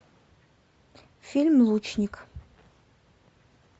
фильм лучник